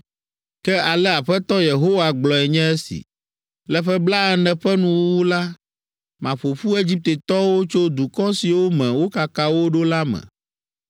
“ ‘Ke ale Aƒetɔ Yehowa gblɔe nye si. “Le ƒe blaene ƒe nuwuwu la, maƒo ƒu Egiptetɔwo tso dukɔ siwo me wokaka wo ɖo la me.